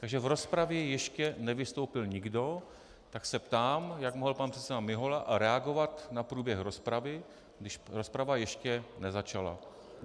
Takže v rozpravě ještě nevystoupil nikdo, tak se ptám, jak mohl pan předseda Mihola reagovat na průběh rozpravy, když rozprava ještě nezačala.